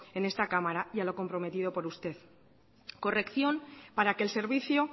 en esta cámara y a lo comprometido por usted corrección para que el servicio